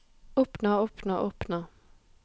oppnå oppnå oppnå